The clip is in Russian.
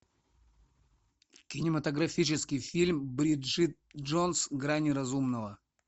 кинематографический фильм бриджит джонс грани разумного